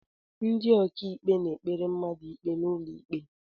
Ndị ọkàikpe na-ekpere mmadụ ikpe n'ụlọikpe